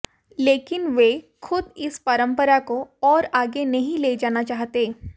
लेकिन वे खुद इस परंपरा को और आगे नहीं ले जाना चाहते